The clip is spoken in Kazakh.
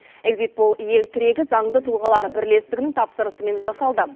эгзит пол ел тірегі заңды тұлғалар бірлестігінің тапсырысымен жасалды